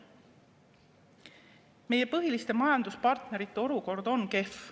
Meie põhiliste majanduspartnerite olukord on kehv.